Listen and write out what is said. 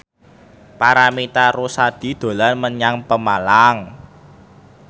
Paramitha Rusady dolan menyang Pemalang